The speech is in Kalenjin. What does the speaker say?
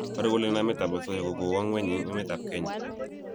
paru kole namet ab asoya ko kokwo ngweny eng emet ab kenya